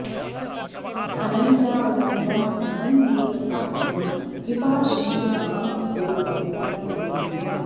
अनन्यावलम्बं भवन्नेत्रपात्रं कृपाशील मां भो पवित्रं कुरु त्वम्